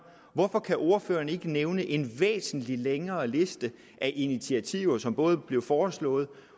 hvorfor kan ordføreren ikke nævne en væsentlig længere liste af initiativer som både blev foreslået